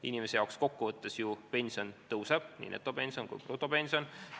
Inimese jaoks kokkuvõttes ju pension tõuseb, nii netopension kui ka brutopension.